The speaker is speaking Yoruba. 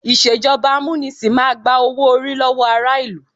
Ìṣèjọba amúnisìn máa gba owó-orí lọ́wọ́ ará ìlú.